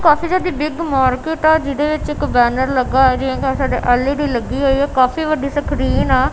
ਕਾਫੀ ਜਿਆਦੀ big market ਹੈ ਜਿਹਦੇ ਵਿੱਚ ਇੱਕ ਬੈਨਰ ਲੱਗਾ ਹੈ ਐਲ_ਈ_ਡੀ ਲੱਗੀ ਹੋਈ ਹੈ ਕਾਫੀ ਵੱਡੀ ਸਕ੍ਰੀਨ ਆ।